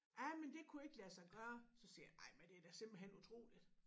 Jamen det kunne ikke lade sig gøre så siger jeg ej men det da simpelthen utroligt